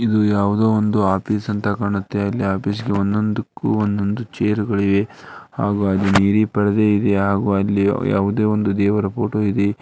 ಇದು ಯಾವುದೋ ಒಂದು ಆಫೀಸ್ ಅಂತ ಕಾಣುತ್ತೆ ಅಲ್ಲಿ ಆಫೀಸ್ ಗೆ ಒಂದೊಂದ್ಕಕು ಒಂದೊಂದು ಛೇರ್ ಗಳಿವೆ ಹಾಗೂ ಅಲ್ಲಿ ನೀಲಿ ಪರದೆ ಇದೆ ಹಾಗೂ ಅಲ್ಲಿ ಯಾವುದೋ ಒಂದು ದೇವರ ಫೋಟೋ ಇದೆ.